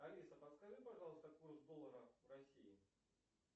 алиса подскажи пожалуйста курс доллара в россии